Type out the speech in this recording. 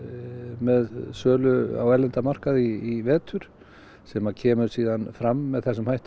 með sölu á erlenda markaði í vetur sem kemur síðan fram með þessum hætti